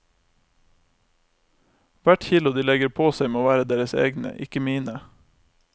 Hvert kilo de legger på seg må være deres egne, ikke mine.